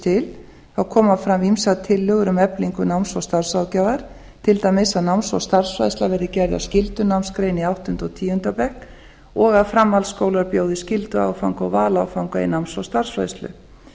til koma fram ýmsar tillögur um eflingu náms og starfsráðgjafar til dæmis að náms og starfsfræðsla verði gerð að skyldunámsgrein í áttunda og tíunda bekk og að framhaldsskólar bjóði skylduáfanga og valáfanga í náms og starfsfræðslu